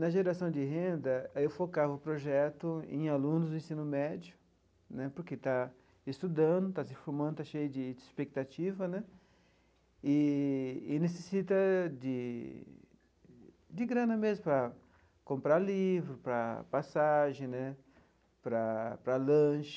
Na geração de renda, aí eu focava o projeto em alunos do ensino médio né, porque está estudando, está se formando, está cheio de de expectativa né eee e necessita de de grana mesmo para comprar livro, para passagem né, para para lanche.